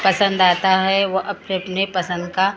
पसंद आता है व अपने के लिए पसंद का--